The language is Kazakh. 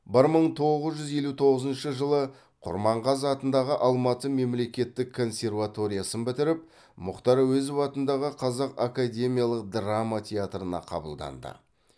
бір мың тоғыз жүз елу тоғызыншы жылы құрманғазы атындағы алматы мемлекеттік консерваториясын бітіріп м әуезов атындағы қазақ академиялық драма театрына қабылданды